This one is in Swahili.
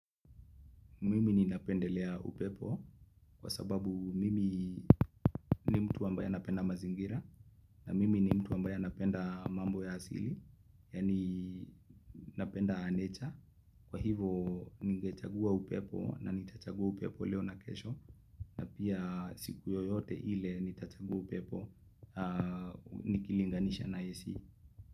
Mimi ninapendelea upepo kwa sababu mimi ni mtu ambaye anapenda mazingira na mimi ni mtu ambaye anapenda mambo ya asili yani napenda nature kwa hivyo nigechagua upepo na nitachagua upepo leo na kesho na pia siku yoyote ile nitachagua upepo nikilinganisha na AC.